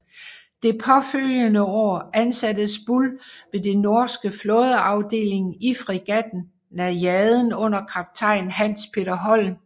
Det påfølgende år ansattes Buhl ved den norske flådeafdeling i fregatten Najaden under kaptajn Hans Peter Holm